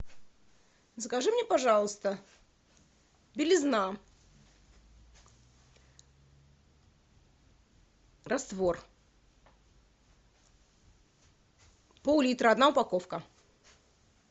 закажи мне пожалуйста белизна раствор пол литра одна упаковка